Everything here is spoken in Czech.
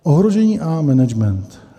Ohrožení a management.